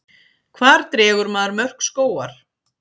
hvar dregur maður mörk skógar